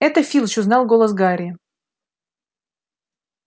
это филч узнал голос гарри